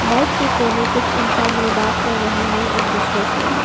Bike के कोने कुछ इंसान है बात की रहे हैं एक दूसरे से।